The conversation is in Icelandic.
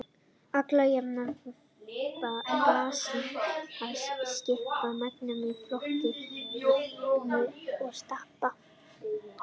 Alla jafna eru móbergsfjöll basísk og skiptast í megindráttum í tvo flokka, móbergshryggi og stapa.